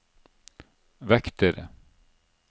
vektere